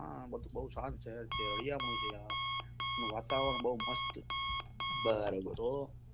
હા બહુ સાંત સહેર છે હરિયાળું છે હા વાતાવરણ બહુ મસ્ત છે તો